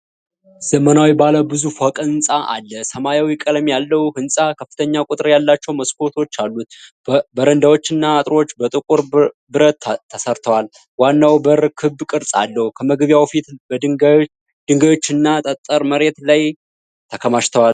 ዘመናዊ ባለ ብዙ ፎቅ ሕንጻ አለ። ሰማያዊ ቀለም ያለው ሕንጻ ከፍተኛ ቁጥር ያላቸው መስኮቶች አሉት። በረንዳዎችና አጥሮች በጥቁር ብረት ተሠርተዋል። ዋናው በር ክብ ቅርጽ አለው። ከመግቢያው በፊት ድንጋዮች እና ጠጠር መሬት ላይ ተከማችተዋል።